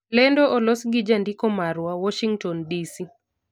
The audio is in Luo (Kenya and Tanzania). Lendo olos gi jandiko marwa, Warshington, DC